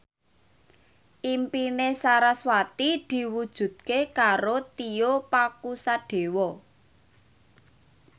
impine sarasvati diwujudke karo Tio Pakusadewo